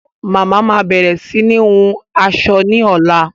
Mama máa bẹ̀rẹ̀ sini hun aṣọ ni ọ̀la